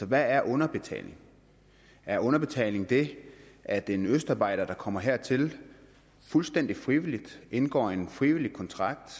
hvad er underbetaling er underbetaling det at en østarbejder der kommer hertil fuldstændig frivilligt indgår en frivillig kontrakt